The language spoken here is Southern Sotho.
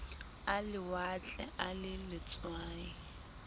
a lewatle a le letswai